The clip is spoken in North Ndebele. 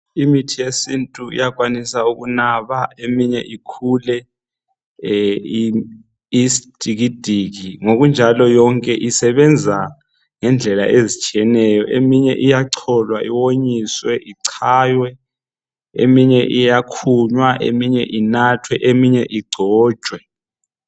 Imithi yesintu iyakwanisa ukunaba eminye ikhule iyisidikidiki ngokunjalo yonke usebenza ngendlela ezitshiyeneyo eminye iyacholwa wonyiswe ichaywe inathwe eminye iyakhunywa eminye ingcontshwe.